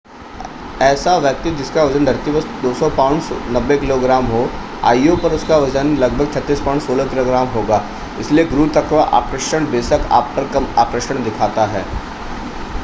ऐसा व्यक्ति जिसका वज़न धरती पर 200 पौंड 90 किलोग्राम हो io पर उसका वज़न लगभग 36 पौंड 16 किलोग्राम होगा. इसलिए गुरुत्वाकर्षण बेशक आप पर कम आकर्षण दिखाता है